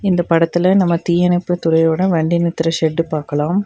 இந்தப் படத்துல நம்ம தீயணைப்பு துறையோட வண்டி நிறுத்துற ஷெட்டு பாக்கலாம்.